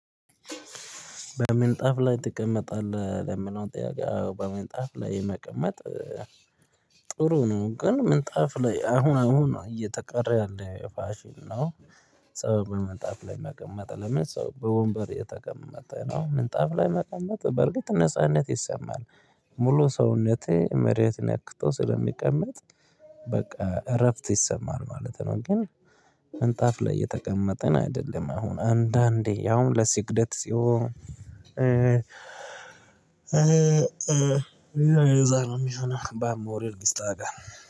በምንጣፍ ላይ ትቀመጣለህ ለሚለው ጥያቄ በምንጣፍ ላይ መቀመጥ ጥሩ ነው ግን ምንጣፍ ላይ አሁን አሁን እየተቀረ ያለ ፍሺን ነው። ሰው በምንጣፍ ላይ መቀመጥ ለምን ሰው በወንበር እየተቀመጠ ነው ምንጣፍ ላይ መቀመጥ በርግጥ ነጻነት ይሰማል። ሙሉ ሰውነቴ መሬት ነክቶ ስለሚቀመጥ በቃ እረፍት ይሰማል ማለት ነው። ግን ምንጣፍ ላይ የተቀመጠን አይደለም አሁን አንዳንዴ ያውም ለስግደት ሲሆን የዛሬው ሚሹን ባሞር ይስጣቸዋል